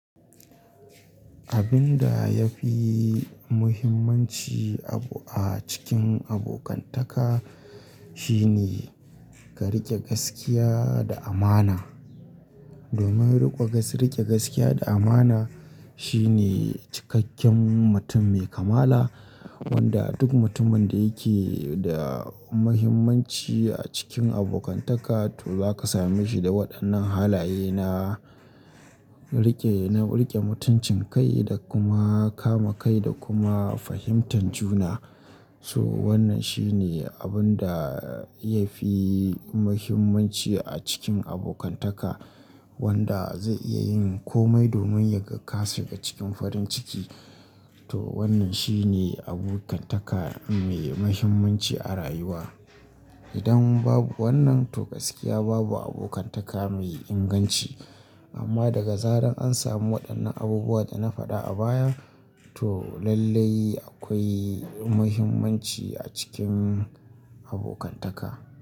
Abin da ya fi muhimmanci abu a cikin abokantaka shine ka riƙe gaskiya da amana. Domin riƙe gaskiya da amana shine cikakken mutum mai kamala wanda duk mutumin da yake da muhimmanci a cikin abokantaka to zaka same shi da waɗannan halaye na riƙe, na riƙe mutuncin kai da kuma kama kai da kuma fahimtar juna. So wannan shine abun da ya fi muhimmanci a cikin abokantaka wanda zai iya yin komai domin yaga kashiga cikin farin ciki. To wannan shine abokantaka mai muhimmanci a rayuwa. Idan babu wannan to gaskiya babu abokantaka mai inganci. Amma daga zara an samu waɗannan abubuwan da na faɗa a baya to lallai akwai muhimmanci a cikin abokantaka.